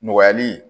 Nɔgɔyali